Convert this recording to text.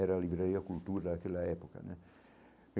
Era a livraria cultura daquela época né.